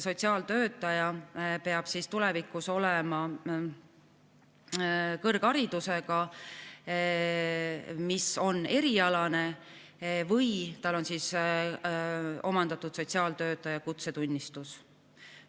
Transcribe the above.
Sotsiaaltöötaja peab tulevikus olema kõrgharidusega, mis on erialane, või peab tal olema omandatud sotsiaaltöötaja kutsetunnistus.